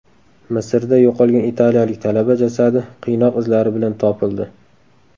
Misrda yo‘qolgan italiyalik talaba jasadi qiynoq izlari bilan topildi.